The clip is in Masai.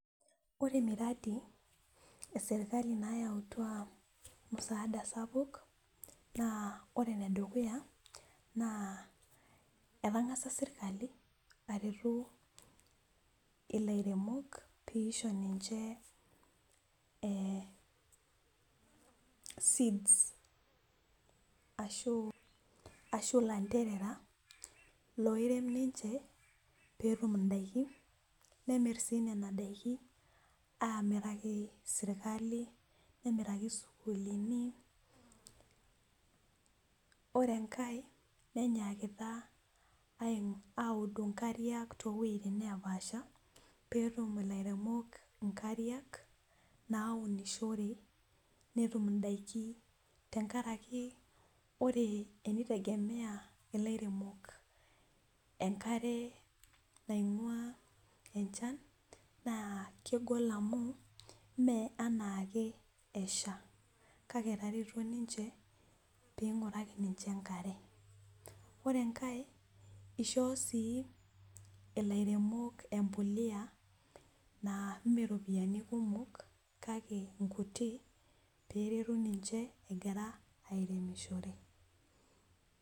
ore miradi eserikali nayautua musaada sapuk naa etang'asa serkali ilairemok pee eisho niche seeds, ashu ilanterera loirem niche pee etum idakin , nemir sii nena dakin amiraki serkali, nemiraki isukuulini ore enkae nenyaakita audu inkariak toowejitin neepaasha pee etum ilairemok inkariak naunishore netum inkariak , tenkaraki ore tenitegemeya enkare naingua enchan naa kegol amu ime enaake esha kake etareto niche pee ing'uraki niche enkare, ore enkae ishoo sii ilairemok embolea naa ime iropiyiani kumok itumiya kake inkutik pee eretu niche egira airemishore.